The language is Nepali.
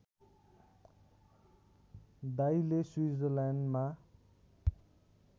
दाइले स्विट्जरल्यान्डमा